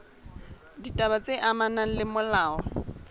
ditaba tse amanang le molao